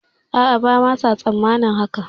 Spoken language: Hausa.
A'a bama sa tsammanin haka